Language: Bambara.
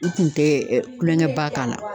N kun tɛ kulonkɛ ba k'a la.